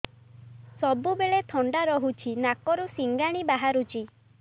ସବୁବେଳେ ଥଣ୍ଡା ରହୁଛି ନାକରୁ ସିଙ୍ଗାଣି ବାହାରୁଚି